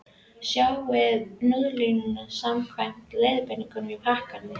Sjóðið núðlurnar samkvæmt leiðbeiningum á pakkanum.